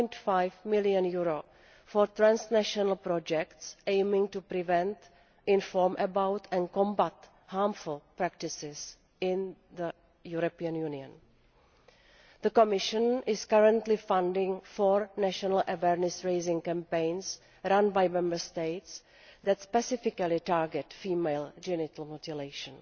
4.5 million for transnational projects aiming to prevent, inform about and combat harmful practices in the European Union. The Commission is currently funding four national awareness raising campaigns run by Member States that specifically target female genital mutilation.